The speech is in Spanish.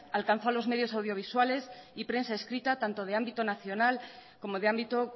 alcanzó a los medios audiovisuales y prensa escrita tanto de ámbito nacional como de ámbito